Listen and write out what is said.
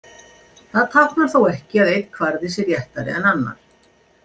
Það táknar þó ekki að einn kvarði sé réttari en annar.